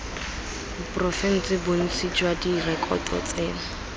porofense bontsi jwa direkoto tseno